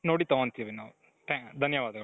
ನೋಡಿ ತಗೊಂತೀವಿ ನಾವು ಧನ್ಯವಾದಗಳು .